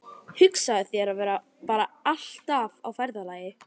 Hugsaðu þér að vera bara alltaf á ferðalagi.